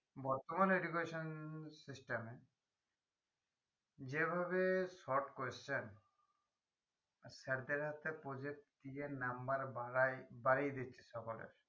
বর্তমান education system এ যেভাবে short question sir দের হাতে project দিয়ে number বাড়াই বাড়িয়ে দিচ্ছে সকলের